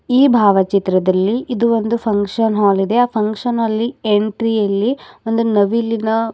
ಈ ಭಾವಚಿತ್ರದಲ್ಲಿ ಇದು ಒಂದು ಫಂಕ್ಷನ್ ಹಾಲ್ ಇದೆ ಆ ಫಂಕ್ಷನ್ ಹಾಲ್ ಅಲ್ಲಿ ಎಂಟ್ರಿ ಅಲ್ಲಿ ಒಂದು ನವಿಲಿನ --